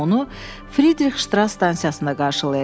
Anam onu Fridrix-Ştras stansiyasında qarşılayacaq.